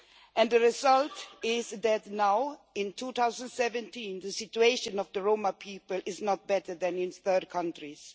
And the result is that now, in 2017, the situation of the Roma people is not better than in third countries.